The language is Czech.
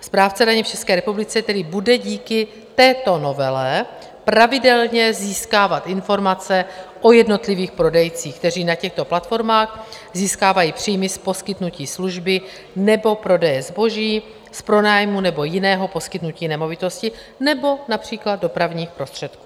Správce daně v České republice tedy bude díky této novele pravidelně získávat informace o jednotlivých prodejcích, kteří na těchto platformách získávají příjmy z poskytnutí služby nebo prodeje zboží, z pronájmu nebo jiného poskytnutí nemovitosti nebo například dopravních prostředků.